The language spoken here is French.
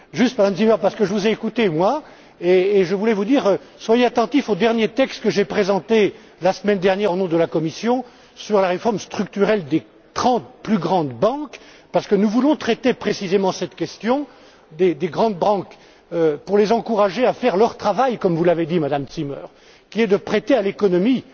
Madame Zimmer, je vous ai écoutée et je voulais vous dire d'être attentive au dernier texte que j'ai présenté la semaine dernière, au nom de la Commission, sur la réforme structurelle des trente plus grandes banques, parce que nous voulons traiter précisément cette question pour les encourager à faire leur travail, comme vous l'avez dit, Madame Zimmer, qui est de prêter à l'économie,